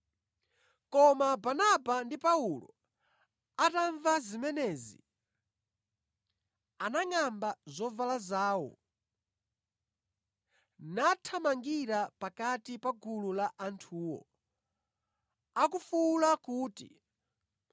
Koma Barnaba ndi Paulo atamva zimenezi, anangʼamba zovala zawo, nathamangira pakati pa gulu la anthuwo, akufuwula kuti,